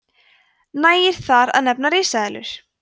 nægir þar að nefna risaeðlur